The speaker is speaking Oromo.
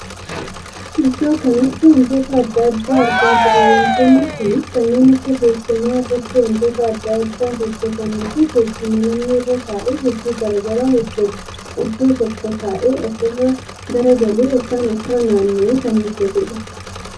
Iddoo kanatti wantoota addaa addaa argaa jirra. Wantoonni kunis kanneen akka teessuma irratti wantoota addaa addaa hojjetanii fi teessuma namni irra taa'ee hojii garaagaraa hojjetu iddoo tokko taa'ee of irra galagalee ykn of irra naanna'ee kan hojjetudha.